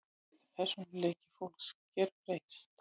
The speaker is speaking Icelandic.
Getur persónuleiki fólks gerbreyst?